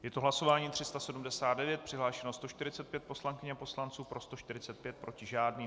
Je to hlasování 379, přihlášeno 145 poslankyň a poslanců, pro 145, proti žádný.